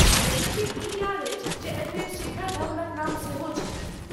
यद्यपि ई याद अछि जे एहिमे शिखर धवनक नाम सेहो छलनि।